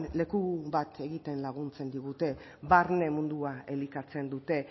leku bat egiten laguntzen digute barne mundua elikatzen dute